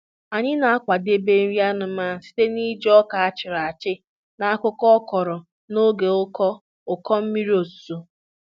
Anyị na-akwadebe nri anụmanụ site na iji ọka a chịrị achị na akwụkwọ akọrọ n'oge ụkọ ụkọ mmiri ozuzo.